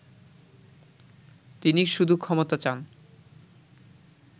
তিনি শুধু ক্ষমতা চান